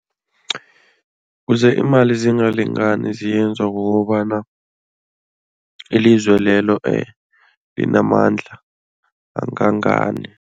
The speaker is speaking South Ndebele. Kuze iimali zingalingani ziyenzwa kukobana ilizwe lelo linamandla angangani.